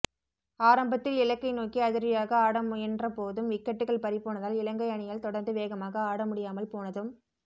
ஆரம்பத்தில் இலக்கை நோக்கி அதிரடியாக ஆட முயன்போதும் விக்கெட்டுகள் பறிபோனதால் இலங்கை அணியால் தொடர்ந்து வேகமாக ஆட முடியாமல்போனதும்